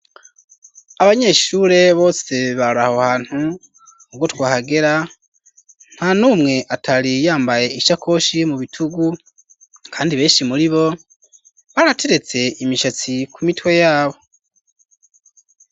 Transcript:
Abanyeshure bose baraho hantu ubwo twahagera ntanumwe atari yambaye ishakoshi mu bitugu kandi beshi muribo barateretse imishatsi ku mitwe yabo.